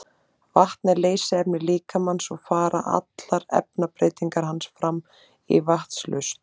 vatn er leysiefni líkamans og fara allar efnabreytingar hans fram í vatnslausn